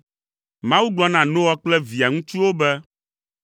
Mawu gblɔ na Noa kple via ŋutsuwo be,